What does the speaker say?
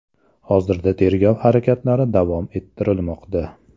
Hozirda tergov harakatlari davom ettirilmoqda.